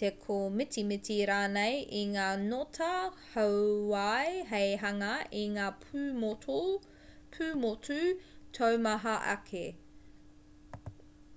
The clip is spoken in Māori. te kōmitimiti rānei i ngā ngota hauwai hei hanga i ngā pūmotu taumaha ake